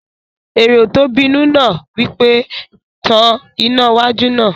Èrò tó bínú náà wí pé, "Tan iná wájú náà!"